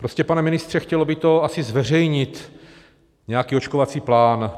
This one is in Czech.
Prostě pane ministře, chtělo by to asi zveřejnit nějaký očkovací plán.